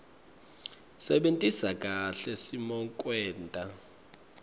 sebentisa kahle simokwenta